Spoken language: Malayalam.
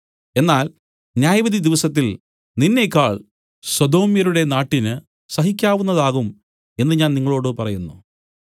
എന്നാൽ ന്യായവിധിദിവസത്തിൽ നിന്നേക്കാൾ സൊദോമ്യരുടെ നാട്ടിന് സഹിക്കാവുന്നതാകും എന്നു ഞാൻ നിങ്ങളോടു പറയുന്നു